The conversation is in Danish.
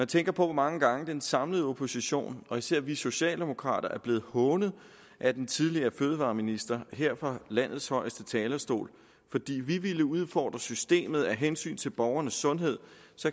tænker på hvor mange gange den samlede opposition og især vi socialdemokrater er blevet hånet af den tidligere fødevareminister her fra landets højeste talerstol fordi vi ville udfordre systemet af hensyn til borgernes sundhed